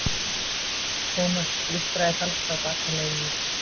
Thomas blístraði falskt á bakaleiðinni.